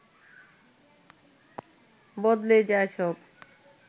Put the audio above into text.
বদলে যায় সব